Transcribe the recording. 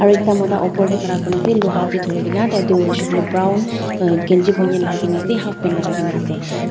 aro ekta mota opor tae khara kurina ase luha tae thurikaena tai tu hoishey koilae tu brown uhh kanchi bonaian lakaikaena ase half pant lakaikaena ase.